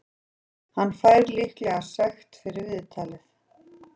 Hann fær líklega sekt fyrir viðtalið.